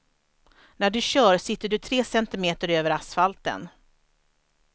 När du kör sitter du tre centimeter över asfalten.